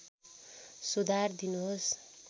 सुधार दिनुहोस्